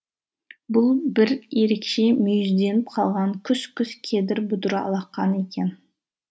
бұл бір ерекше мүйізденіп қалған күс күс кедір бұдыр алақан екен